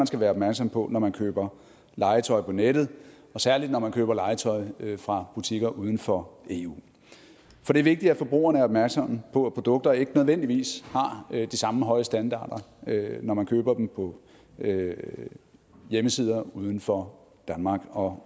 skal være opmærksom på når man køber legetøj på nettet og særligt når man køber legetøj fra butikker uden for eu for det er vigtigt at forbrugerne er opmærksomme på at produkter ikke nødvendigvis har de samme høje standarder når man køber dem på hjemmesider uden for danmark og